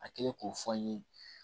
A kɛlen k'o fɔ n ye